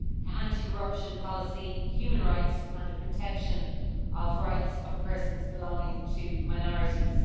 anti corruption policy, human rights and the protection of rights of persons belonging to minorities.